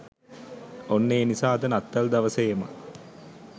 ඔන්න ඒ නිසා අද නත්තල් දවසේම